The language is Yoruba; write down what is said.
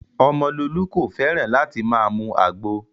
Omololu kò fẹ́ràn láti máa mu àgbo